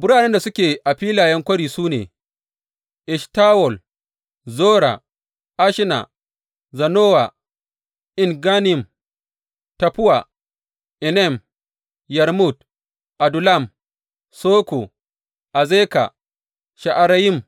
Biranen da suke a filayen kwari su ne, Eshtawol, Zora; Ashna, Zanowa, En Gannim, Taffuwa, Enam, Yarmut, Adullam, Soko, Azeka, Sha’arayim,